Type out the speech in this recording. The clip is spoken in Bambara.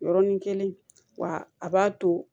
Yɔrɔnin kelen wa a b'a to